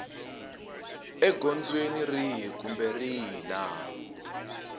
egondzweni rihi kumbe rihi laha